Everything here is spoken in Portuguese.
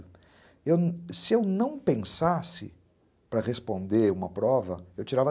Eu, se eu não pensasse para responder uma prova, eu tirava